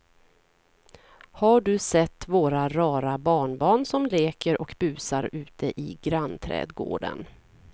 Har du sett våra rara barnbarn som leker och busar ute i grannträdgården!